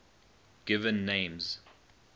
given names